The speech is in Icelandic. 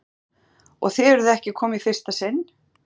Haukur: Og þið eruð ekki að koma í fyrsta sinn?